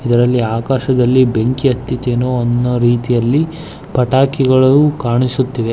ಇದರಲ್ಲಿ ಆಕಾಶದಲ್ಲಿ ಬೆಂಕಿ ಹತ್ತಿದೇನೋ ಅನ್ನುವ ರೀತಿಯಲ್ಲಿ ಪಟಾಕಿಗಳು ಕಾಣಿಸುತ್ತಿದೆ.